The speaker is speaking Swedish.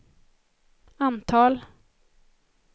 antal